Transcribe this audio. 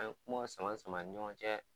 An ye kuma sama sama an ni ɲɔgɔn cɛ